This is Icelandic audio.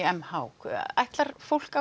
m h ætlar fólk